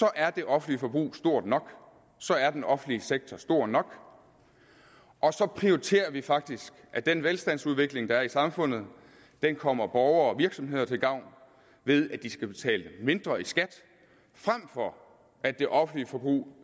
er det offentlige forbrug stort nok så er den offentlige sektor stor nok og så prioriterer vi faktisk at den velstandsudvikling der er i samfundet kommer borgere og virksomheder til gavn ved at de skal betale mindre i skat frem for at det offentlige forbrug